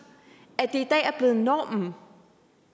at det i dag er blevet normen